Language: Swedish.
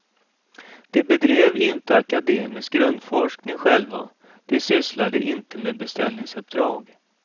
De bedrev inte akademisk grundforskning själva, de sysslade inte med beställningsuppdrag.